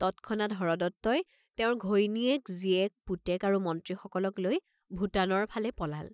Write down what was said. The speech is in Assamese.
তৎক্ষণাৎ হৰদত্তই তেওঁৰ ঘৈণীয়েক, জীয়েক, পুতেক আৰু মন্ত্ৰীসকলক লৈ ভোটানৰ ফালে পলাল।